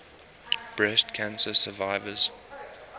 breast cancer survivors